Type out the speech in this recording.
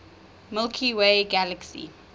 milky way galaxy